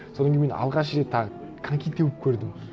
содан кейін мен алғаш рет тағы коньки теуіп көрдім